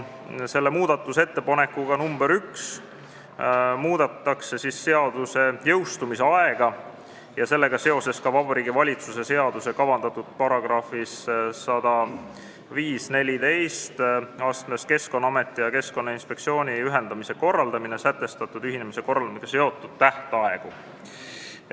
Selle muudatusettepanekuga muudetakse seaduse jõustumise aega ja sellega seoses ka Vabariigi Valitsuse seadusesse lisatavas §-s 10514 "Keskkonnaameti ja Keskkonnainspektsiooni ühendamise korraldamine" sätestatud ühinemise korraldamisega seotud tähtaegu.